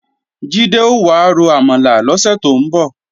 Jídé ò wá ro àmàlà lọ́sẹ̀ tó ń bọ̀